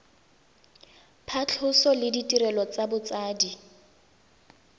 phatlhoso le ditirelo tsa botsadi